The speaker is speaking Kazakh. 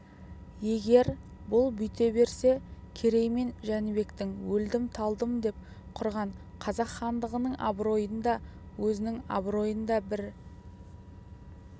егер бұл бүйте берсе керей мен жәнібектің өлдім-талдым деп құрған қазақ хандығының абыройын да өзінің абыройын да бір